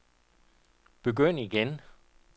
begynd igen